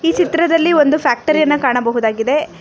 ಚಿತ್ರದಲ್ಲಿ ಒಂದು ಫ್ಯಾಕ್ಟರಿ ಯನ್ನ ಕಾಣಬಹುದಾಗಿದೆ.